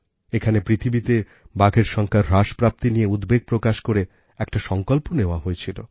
এখানে পৃথিবীতে বাঘের সংখ্যার হ্রাসপ্রাপ্তি নিয়ে উদ্বেগ প্রকাশ করে একটা সংকল্প নেওয়া হয়েছিল